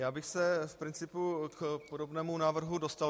Já bych se z principu k podobnému návrhu dostal.